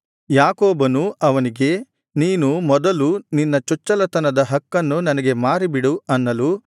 ಯಾಕೋಬನು ಅವನಿಗೆ ನೀನು ಮೊದಲು ನಿನ್ನ ಚೊಚ್ಚಲತನದ ಹಕ್ಕನ್ನು ನನಗೆ ಮಾರಿ ಬಿಡು ಅನ್ನಲು